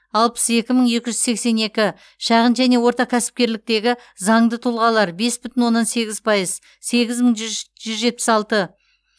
алпыс екі мың екі жүз сексен екі шағын және орта кәсіпкерліктегі заңды тұлғалар бес бүтін оннан сегіз пайыз сегіз мың жүж жүз жетпіс алты